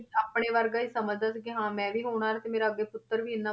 ਆਪਣੇ ਵਰਗਾ ਹੀ ਸਮਝਦਾ ਸੀ ਕਿ ਹਾਂ ਮੈਂ ਵੀ ਹੋਣਹਾਰ ਤੇ ਮੇਰਾ ਅੱਗੇ ਪੁੱਤਰ ਵੀ ਇੰਨਾ,